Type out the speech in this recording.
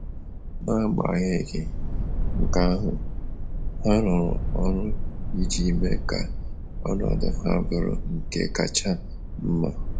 N’agbaghenyị nke ahụ, ha rụrụ ọrụ iji mee ka ọnọdụ ha bụrụ nke kacha mma.